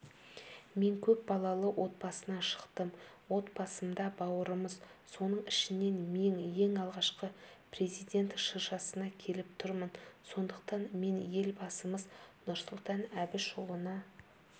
мен көп балалы отбасынан шықтым отбасымда бауырмыз соның ішінен мен ең алғашқы президент шыршасына келіп тұрмын сондықтан мен елбасымыз нұрсұлтан әбішұлына